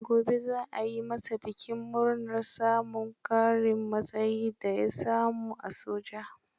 Gobe za a yi masa bikin murnar samun ƙarin matsayin da ya samu a soja.